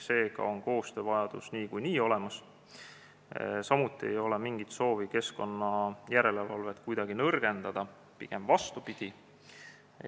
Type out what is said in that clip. Seega on koostöövajadus niikuinii olemas, samuti ei ole mingit soovi keskkonnajärelevalvet kuidagi nõrgendada, pigem vastupidi.